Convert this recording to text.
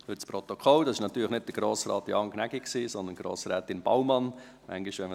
Zuhanden des Protokolls: Das war natürlich nicht Grossrat Jan Gnägi, sondern Grossrätin Baumann, die gesprochen hat.